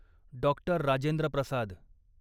doctor Rajendra Prasad